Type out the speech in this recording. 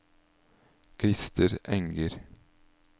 Krister Enger